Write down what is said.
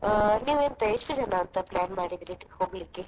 ನೀವು ಎಂತ ಎಷ್ಟು ಜನ ಅಂತ plan ಮಾಡಿದ್ದೀರಿ ಹೋಗ್ಲಿಕ್ಕೆ?